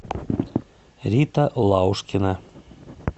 рита лаушкина